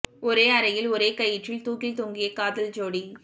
ஒரே அறையில் ஒரே கயிற்றில் தூக்கில் தொங்கிய காதல் ஜோடி